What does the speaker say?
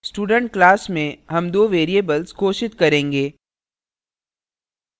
student class में हम दो variables घोषित करेंगे